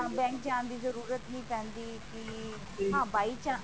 ਹਾਂ bank ਜਾਣ ਦੀ ਜਰੂਰਤ ਨਹੀਂ ਪੈਂਦੀ ਕਿ ਹਾਂ by chance